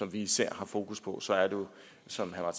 vi især har fokus på så er det jo som herre